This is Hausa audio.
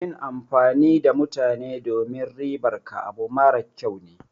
Yin amfani da mutane domin ribar ka abu mara kyau ne.